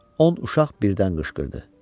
On uşaq birdən qışqırdı: